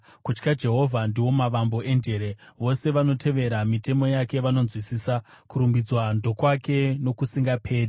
Kutya Jehovha ndiwo mavambo enjere; vose vanotevera mitemo yake vanonzwisisa. Kurumbidzwa ndokwake nokusingaperi.